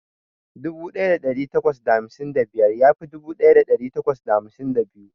Dubu daya dari takwas da hamsin da biyar ya fi dubu daya dari takwas da hamsin da biyu.